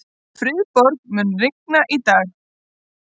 Friðborg, mun rigna í dag?